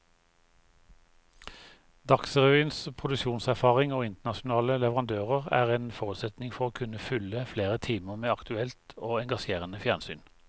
Dagsrevyens produksjonserfaring og internasjonale leverandører er en forutsetning for å kunne fylle flere timer med aktuelt og engasjerende fjernsyn.